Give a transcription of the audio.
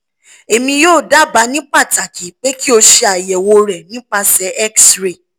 emi yoo daba ni pataki pe ki o se ayewo re nipasẹ x-ray